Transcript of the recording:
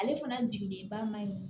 Ale fana jigilenba ma ɲi